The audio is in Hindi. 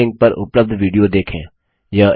निम्न लिंक पर उपलब्ध विडियो देखें